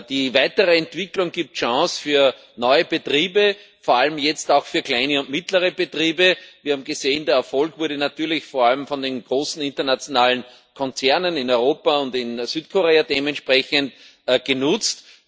Die weitere Entwicklung gibt Chancen für neue Betriebe, vor allem jetzt auch für kleine und mittlere Betriebe. Wir haben gesehen Der Erfolg wurde natürlich vor allem von den großen internationalen Konzernen in Europa und in Südkorea dementsprechend genutzt.